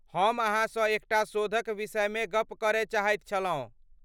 हम अहाँसँ एकटा शोधक विषयमे गप करय चाहैत छलहुँ।